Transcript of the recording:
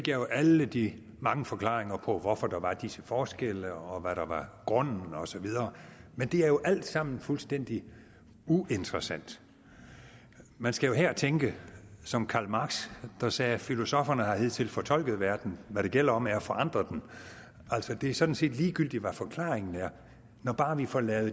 jo alle de mange forklaringer på hvorfor der var disse forskelle og hvad der var grunden og så videre men det er jo alt sammen fuldstændig uinteressant man skal her tænke som karl marx der sagde filosofferne har hidtil fortolket verden hvad det gælder om er at forandre den altså det er sådan set ligegyldigt hvad forklaringen er når bare vi får lavet